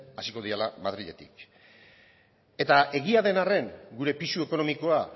hasiko direla madriletik eta egia den arren gure pisu ekonomikoa